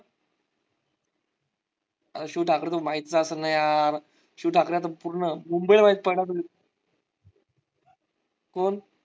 शिव ठाकरे माहीतच असाल ना यार शिव ठाकरे तर पूर्ण मुंबई . कोण?